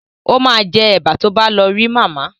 O ma jẹ́ Ẹ̀bà tó bá lọ rí màmá